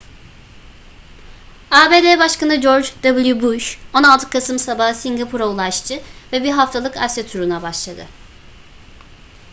abd başkanı george w bush 16 kasım sabahı singapur'a ulaştı ve bir haftalık asya turuna başladı